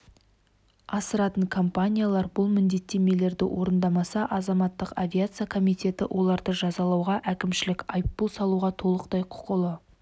асыратын компаниялар бұл міндеттемелерді орындамаса азаматтық авиация комитеті оларды жазалауға әкімшілік айыппұл салуға толықтай құқылы